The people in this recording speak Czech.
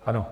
Ano.